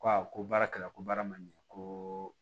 Ko awɔ ko baara kɛra ko baara ma ɲɛ ko